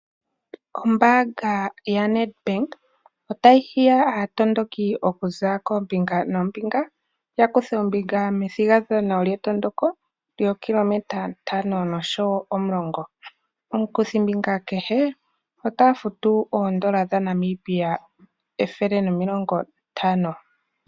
Ombaanga ya nedbank otayi hiya aatondoki okuza koombinga noombinga ya kuthe ombinga methigathano lyetondoko lyookilometa ntano osho wo omulongo. Omukuthimbinga kehe ota futu oondola dhaNamibia ethele nomilongo ntano.